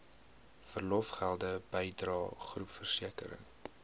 verlofgelde bydrae groepversekering